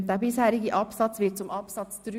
Der bisherige Absatz 2 wird zu Absatz 3.